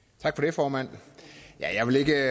formand jeg vil ikke